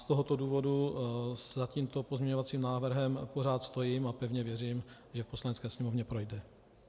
Z tohoto důvodu za tímto pozměňovacím návrhem pořád stojím a pevně věřím, že v Poslanecké sněmovně projde.